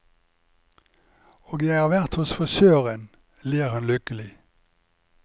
Og jeg har vært hos frisøren, ler hun lykkelig.